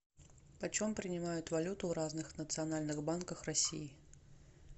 почем принимают валюту в разных национальных банках россии